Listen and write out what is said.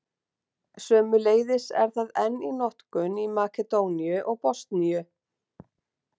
Sömuleiðis er það enn í notkun í Makedóníu og Bosníu.